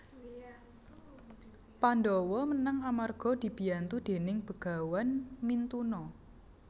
Pandhawa menang amarga dibiyantu déning Begawan Mintuna